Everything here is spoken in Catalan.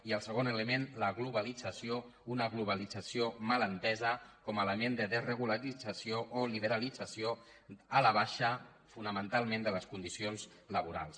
i el segon element la globalització una globalització mal entesa com a element de desregularització o liberalització a la baixa fonamentalment de les condicions laborals